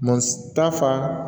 Matafa